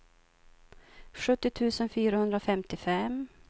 sjuttio tusen fyrahundrafemtiofem